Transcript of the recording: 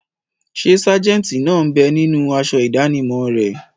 Ṣé sájẹ̀ntì náà bẹ ninú aṣọ ìdánimọ̀ rẹ̀?